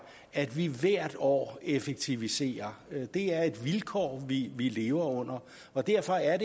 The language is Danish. at vi hvert år effektiviserer det er et vilkår vi vi lever under og derfor er